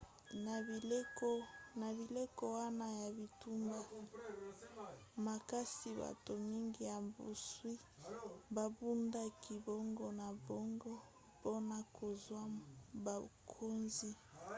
na bileko wana ya bitumba makasi bato mingi ya bozwi babundaki bango na bango mpona kozwa bokonzi